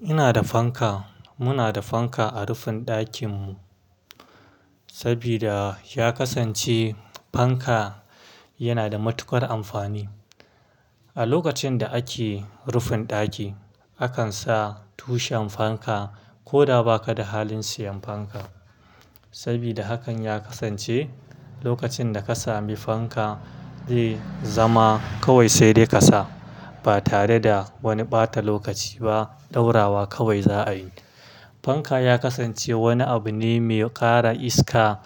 Ina da fanka, muna da fanka a rufin ɗakin mu, sabida ya kasance fanka yana da matuƙar amfani. A lokacin da ake rufin ɗaki, akan sa tushen fanka, ko da ba ka da halin siyan fanka. Sabida hakan ya kasance lokacin da ka sami fanka, zai zama kawai sai dai ka sa. Ba tare da wani ɓata lokaci ba, ɗaurawa kawai za a yi. Fanka ya kasance wani abu ne mai ƙara iska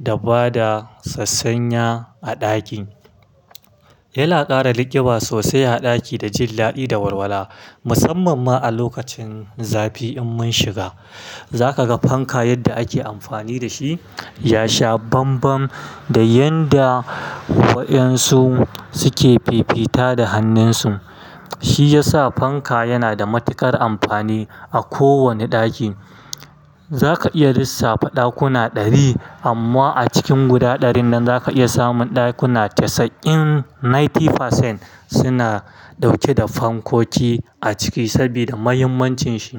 da bada sassanya a ɗakin. Yana ƙara liƙiɓa sosai a ɗaki da jin daɗi da warwara. Musamman ma a lokacin zafi in mun shiga, za ka ga fanka yadda ake amfani da shi ya sha banban, da yanda wa'yansu suke fifita da hannunsu. Shi ya sa fanka yana da matuƙar amfani a kowane ɗaki. Za ka iya lissafta ɗakuna ɗari amma a cikin guda ɗarin nan za ka iya samun ɗakuna casa'in, ninety percent suna ɗauke da fankoki a ciki sabida muhimmancin shi.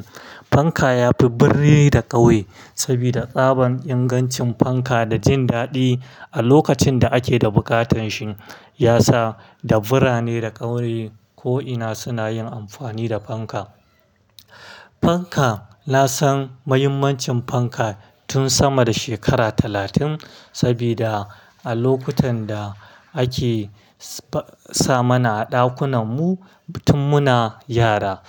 Fanka ya fi birrai da ƙauye, sabida tsaban ingancin fanka da jin daɗi, a lokacin da ake da buƙatan shi ya sa dabbarane da ƙauye ko'ina suna yin amfani da fanka. Fanka, na san muhimmancin fanka tun sama da shekara talatin, sabida a lokutan da ake sa mana a ɗakunan mu, tun muna yara.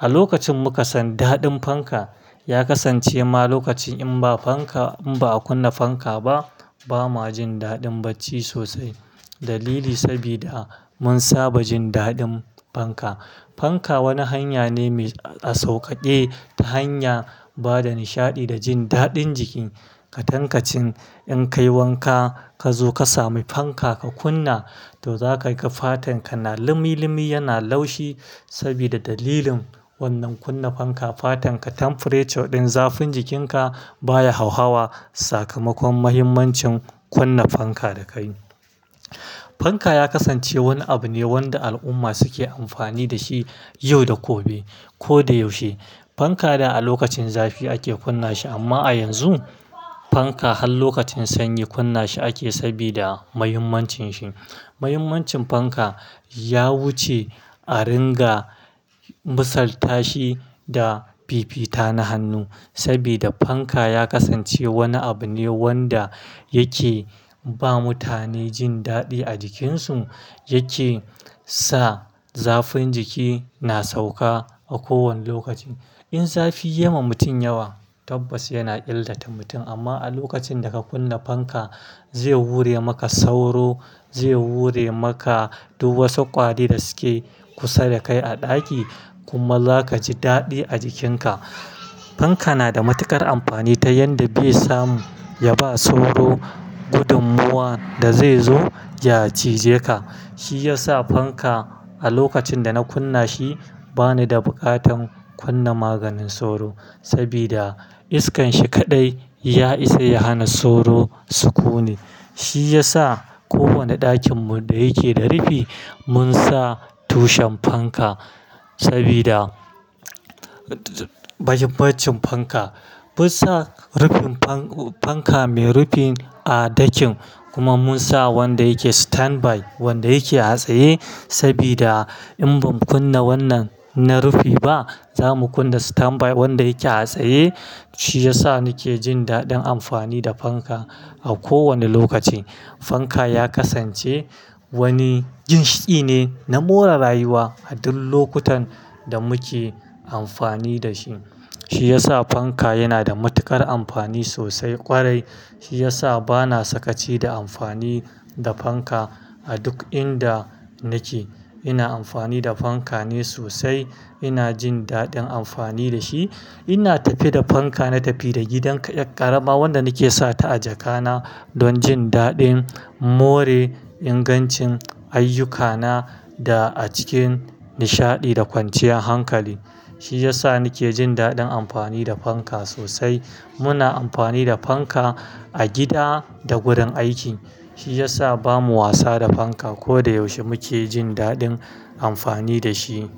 A lokacin muka san daɗin fanka, ya kasance ma lokacin in ba fanka, in ba a kunna fanka ba, ba ma jin daɗin bacci sosai. Dalili sabida mun saba jin daɗin fanka. Fanka wani hanya ne mai a sauƙaƙe ta hanya bada nishaɗi da jin daɗin jiki. Ka tankacin in ka yi wanka, ka zo ka sami fanka ka kunna, to za ka ga fatan ka na limi-limi yana laushi, sabida dalilin wannan kunna fanka fatan ka temperature ɗin zafin jikin ka baya hauhawa. Sakamakon muhimmancin kunna fanka da ka yi. Fanka ya kasance wani abu ne wanda al'umma suke amfani da shi, yau da gobe ko da yaushe. Fanka da a lokacin zafi ake kunna shi amma a yanzu fanka har lokacin sanyi kunna shi ake sabida muhimmancin shi. Muhimmancin fanka ya wuce a ringa misal tashi da fifita na hannu, sabida fanka ya kasance wani abu ne wanda yake ba mutane jin daɗi a jikin su. Yake sa zafin jiki na sauka a kowane lokaci. In zafi ya ma mutum yawa, tabbas yana illata mutum amma a lokacin da ka kunna fanka, zai wure maka sauro, zai wure maka duk wasu ƙwari da suke kusa da kai a ɗaki, kuma za ka ji daɗi a jikin ka. Fanka na da matuƙar amfani ta yanda be samu ya ba sauro gudun muwan da zaizo ja cije ka. Shi ya sa fanka a lokacin da na kunna shi bani da buƙatan kunna maganin sauro, sabida iskan shi kaɗai ya isa ya hana sauro su ƙone. Shi ya sa kowane ɗakin mu da yake da rufi, mun sa tushen fanka, sabida muhimmancin fanka. Mun sa rufin fanka mai rufi a ɗakin kuma mun sa wanda yake standby, wanda yake a tsaye sabida in ba mu kunna wannan na rufi ba, za mu kunna standby wanda yake a tsaye. Shi ya sa ni ke jin daɗin amfani da fanka a kowane lokaci. Fanka ya kasance wani ginshiƙi ne na more rayuwa a duk lokutan da muke amfani da shi. Shi ya sa fanka yana da matuƙar amfani sosai ƙwarai. Shi ya sa bana sakaci da amfani da fanka a duk inda nake. Ina amfani da fanka ne sosai, ina jin daɗin amfani da shi. Ina tafi da fanka na tafi da gidan ƙarama wanda nake sata a jaka na, don jin daɗin more ingancin ayyukana da a cikin nishaɗi da kwanciyar hankali. Shi ya sa ni ke jin daɗin amfani da fanka sosai. Muna amfani da fanka, a gida da wurin aiki. Shi ya sa ba mu wasa da fanka. Ko da yaushe muke jin daɗin amfani da shi.